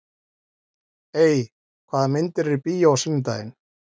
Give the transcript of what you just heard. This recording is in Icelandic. Ey, hvaða myndir eru í bíó á sunnudaginn?